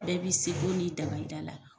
Bɛɛ b'i seko n'i da da la